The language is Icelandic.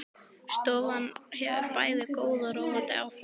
Stofan hefur bæði góð og róandi áhrif á hana.